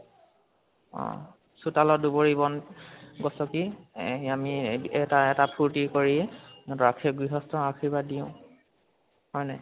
অ চোতালত দুবৰি বন গচকি এ আমি এটা এটা ফুৰ্তি কৰি গৃহস্তক আৰ্শীবাদ দিওঁ, হয় নাই?